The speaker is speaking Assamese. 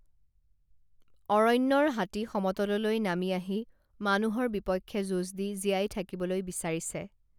অৰণ্যৰ হাতী সমতললৈ নামি আহি মানুহৰ বিপক্ষে যুঁজ দি জীয়াই থাকিবলৈ বিচাৰিছে